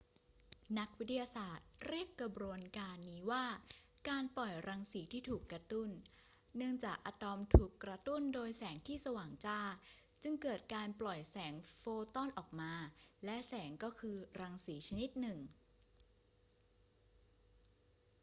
นักวิทยาศาสตร์เรียกกระบวนการนี้ว่า การปล่อยรังสีที่ถูกกระตุ้น เนื่องจากอะตอมถูกกระตุ้นโดยแสงที่สว่างจ้า จึงเกิดการปล่อยแสงโฟตอนออกมา และแสงก็คือรังสีชนิดหนึ่ง